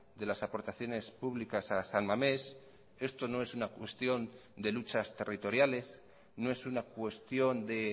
de las aportaciones públicas a san mames esto no es una cuestión de luchas territoriales no es una cuestión de